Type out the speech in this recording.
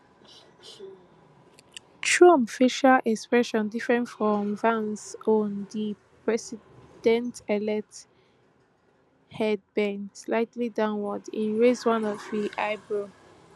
trump facial expression different from vance own di presidentelect head bend slightly downward im raise one of im eyebrow